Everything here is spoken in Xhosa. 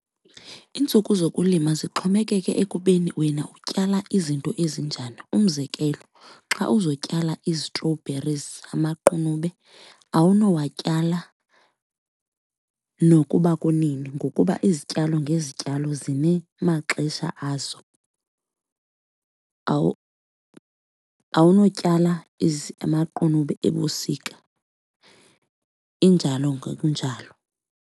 Iintsuku zokulima zixhomekeke ekubeni wena utyala izinto ezinjani. Umzekelo, xa uzotyala ii-strawberries, amaqunube, awunowatyala nokuba kunini ngokuba izityalo ngezityalo zinemaxesha azo. Awunotyala amaqunube ebusika, injalo ngokunjalo.